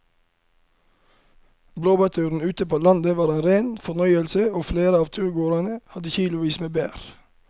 Blåbærturen ute på landet var en rein fornøyelse og flere av turgåerene hadde kilosvis med bær.